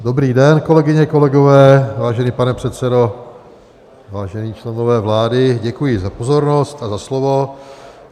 Dobrý den, kolegyně, kolegové, vážený pane předsedo, vážení členové vlády, děkuji za pozornost a za slovo.